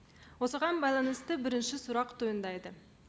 осыған байланысты бірінші сұрақ туындайды